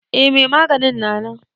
Eh mai maganin na nan.